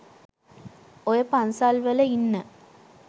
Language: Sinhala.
ඔය පන්සල්වල ඉන්න